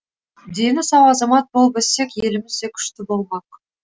дені сау азамат болып өссек еліміз де күшті болмақ